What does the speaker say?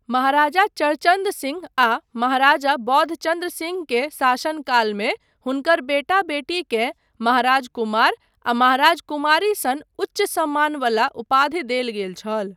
महाराजा चर्चन्द सिंह आ महाराजा बोधचन्द्र सिंह के शासन कालमे हुनकर बेटा बेटी केँ महाराज कुमार आ महाराज कुमारी सन उच्च सम्मान बला उपाधि देल गेल छल।